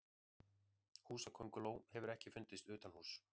Húsakönguló hefur ekki fundist utanhúss.